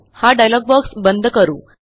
हा dialog box बंद करू